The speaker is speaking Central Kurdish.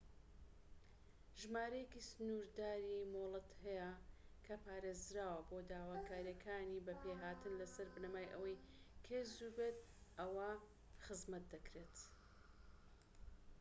ژمارەیەکی سنورداری مۆڵەت هەیە کە پارێزراوە بۆ داواکاریەکانی بە پێ هاتن لە سەر بنەمای ئەوەی کێ زوو بێت ئەو خزمەت دەکرێت